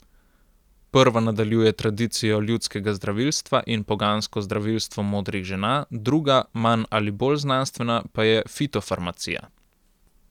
Prva nadaljuje tradicijo ljudskega zdravilstva in pogansko zdravilstvo modrih žena, druga, manj ali bolj znanstvena, pa je fitofarmacija.